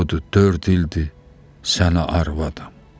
budur dörd ildir sənə arvadam.